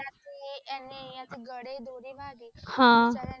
Suddenly એમને અહીંયા થી ગળે થી દોરી વાગી.